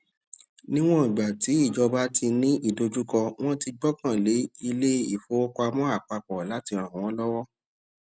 níwọn ìgbà tí ìjọba tí ní ìdojúkọ wọn ti gbọkàn lé ilé ìfowópamọ àpapọ láti ràn wọn lọwọ